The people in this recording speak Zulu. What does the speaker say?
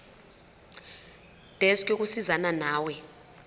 desk yokusizana nawe